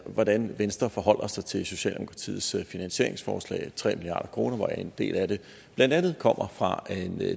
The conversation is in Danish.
hvordan venstre forholder sig til socialdemokratiets finansieringsforslag tre milliard kr hvoraf en del af det kommer fra